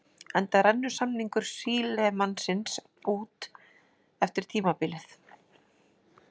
Enda rennur samningur Sílemannsins út eftir tímabilið.